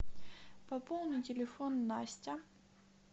пополни телефон настя